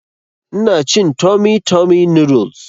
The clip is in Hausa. Ina cin tummy tummy noodles